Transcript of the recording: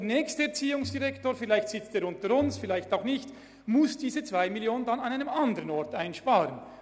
Der nächste Erziehungsdirektor müsste diese 2 Mio. Franken sonst an einem anderen Ort einsparen.